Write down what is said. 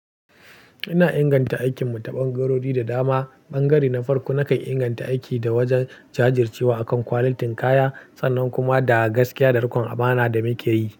Ina inganta aikinmu ta ɓangarori da dama. Ɓangare na farko, nakan inganta aiki da wajen jajircewa akan quality kaya sannan kuma da gaskiya da rikon amana da muke yi.